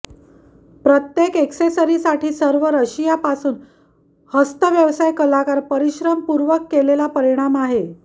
प्रत्येक ऍक्सेसरीसाठी सर्व रशिया पासून हस्त व्यवसाय कलाकार परिश्रमपूर्वक केलेला परिणाम आहे